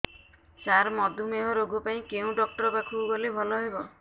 ସାର ମଧୁମେହ ରୋଗ ପାଇଁ କେଉଁ ଡକ୍ଟର ପାଖକୁ ଗଲେ ଭଲ ହେବ